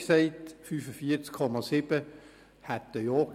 45,7 Prozent sagten Ja.